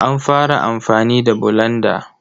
A fara amfani da bulanda.